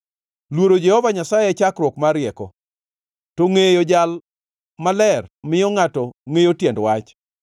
Luoro Jehova Nyasaye e chakruok mar rieko, to ngʼeyo Jal Maler miyo ngʼato ngʼeyo tiend wach.